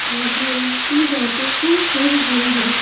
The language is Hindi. आदमी उसकी बातों को सुन रहे हैं।